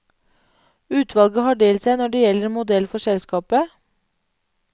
Utvalget har delt seg når det gjelder modell for selskapet.